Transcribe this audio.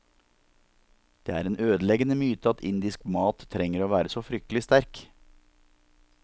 Det er en ødeleggende myte at indisk mat trenger å være så fryktelig sterk.